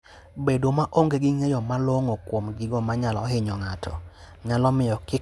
Bedo maonge gi ng'eyo malong'o kuom gigo manyalo hinyo ng'ato, nyalo miyo kik odhi maber e wuodhno.